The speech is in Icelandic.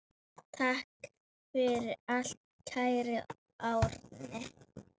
Takk fyrir allt, kæri Árni.